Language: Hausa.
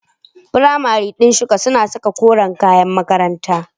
Firamare din shika suna saka koren kayan makaranta.